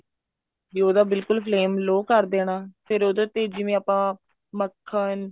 ਵੀ ਉਹਦਾ ਬਿਲਕੁਲ flame low ਕਰ ਦੇਣਾ ਫ਼ੇਰ ਉਹਦੇ ਤੇ ਜਿਵੇਂ ਆਪਾਂ ਮੱਖਣ